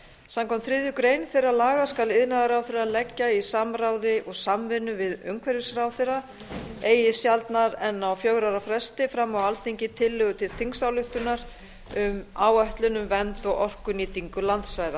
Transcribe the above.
samkvæmt þriðju grein þeirra laga skal iðnaðarráðherra leggja í samráði og samvinnu við umhverfisráðherra eigi sjaldnar en á fjögurra ára fresti fram á alþingi tillögu til þingsályktunar um áætlun um vernd og orkunýtingu landsvæða